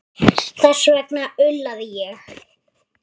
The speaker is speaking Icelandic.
Þess vegna ullaði ég.